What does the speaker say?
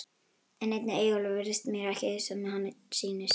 En einnig Eyjólfur virðist mér ekki sem hann sýnist.